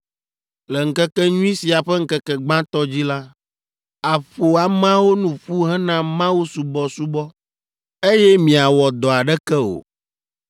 Le ŋkekenyui sia ƒe ŋkeke gbãtɔ dzi la, àƒo ameawo nu ƒu hena mawusubɔsubɔ, eye miawɔ dɔ aɖeke o.